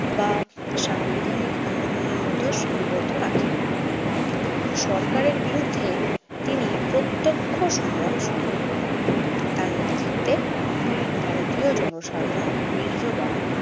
বা সাংবিধানিক আন্দোলনের মধ্যেও সীমাবদ্ধ রাখেননি। সরকারের বিরুদ্ধে তিনি প্রত্যক্ষ সংগ্রাম শুরু করেন। তার নেতৃত্বে ভারতীয় জনসাধারণ বীর্যবান